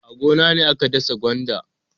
A gona ne aka dasa gwanda.